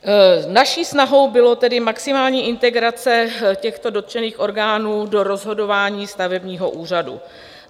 Naší snahou byla tedy maximální integrace těchto dotčených orgánů do rozhodování stavebního úřadu.